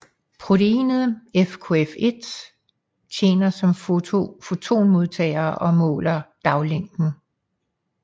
Proteinet FKF1 tjener som fotonmodtager og måler daglængden